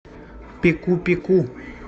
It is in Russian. пеку пеку